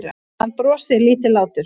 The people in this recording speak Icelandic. Hann brosir lítillátur.